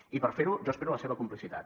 i per fer ho jo espero la seva complicitat